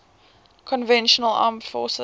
conventional armed forces